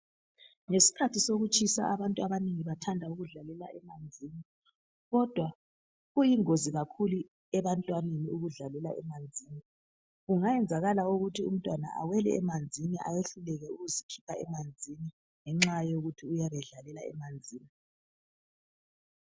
Ngesikhathi sokutshisa abantu abanengi bathanda ukudlalela emanzini kodwa kuyingozi kakhulu ebantwaneni ukudlalela , kungayenzakakala ukuthi umntwana awele emanzini ayehluleke ukuzikhipha emanzini ngenxa yokuthi uyabedlalela emanzini